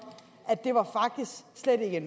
slet ikke